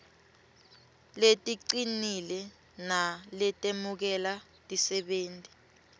leticinile naletemukela tisebenti